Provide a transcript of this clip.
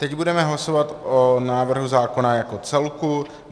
Teď budeme hlasovat o návrhu zákona jako celku.